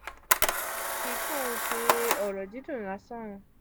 eyi kii kan n se oro didun lasan.